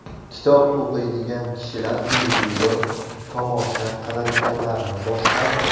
Kitob o‘qiydigan kishilar televizor tomosha qiladiganlarni boshqaradi.